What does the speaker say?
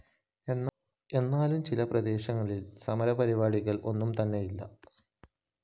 എങ്കിലും ചില പ്രദേശങ്ങളില്‍ സമരപരിപാടികള്‍ ഒന്നും തന്നെയില്ല